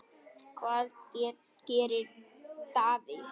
Hvað gerir Davids?